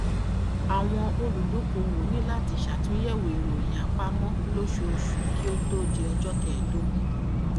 àwọn olùdókòwò ní láti ṣe àtúnyẹwò ìròyìn àpamọ lóṣooṣù kí ó tó di ọjọ kẹèdógún